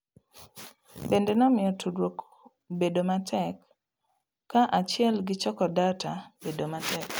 Bende nomiyo tudruok bedo matek ka achiel gi choko data bedo matek